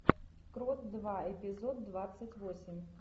крот два эпизод двадцать восемь